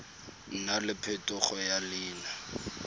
nna le phetogo ya leina